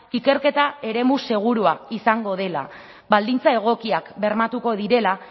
ikerketa eremu segurua izango dela baldintza egokiak bermatuko direla